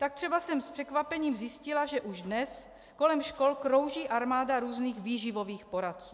Tak třeba jsem s překvapením zjistila, že už dnes kolem škol krouží armáda různých výživových poradců.